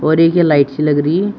और एक ये लाइट सी लग रही है।